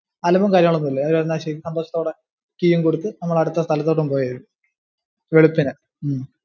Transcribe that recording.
അലമ്പും കാര്യങ്ങളും ഒന്നും ഇല്ല. അവര് പറഞ്ഞെന്നാ ശരി, സന്തോഷത്തോടെ key ഉം കൊടുത്തു നമ്മൾ അടുത്ത സ്ഥലത്തോട്ടു പോയി, വെളുപ്പിന്